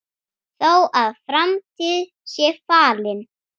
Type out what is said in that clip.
Þó að framtíð sé falin